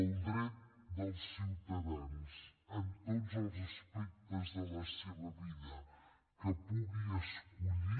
el dret dels ciutadans en tots els aspectes de les seves vides que puguin escollir